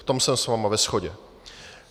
V tom jsem s vámi ve shodě.